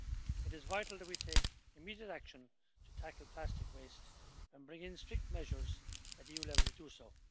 It is vital that we take immediate action to tackle plastic waste and bring in strict measures at EU level to do so.